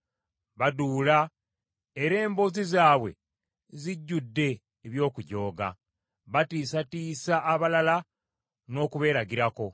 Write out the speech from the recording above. Baduula era emboozi zaabwe zijjudde eby’okujooga. Batiisatiisa abalala n’okubeeragirako.